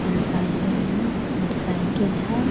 यहाँ साइकिल है मोटरसाइकिल है।